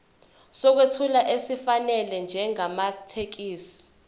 sokwethula esifanele njengamathekisthi